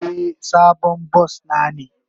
Eh, sabon bas na ne.